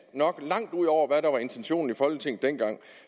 nok langt ud over hvad der var intentionen i folketinget dengang